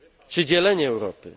czy dzielenie Europy.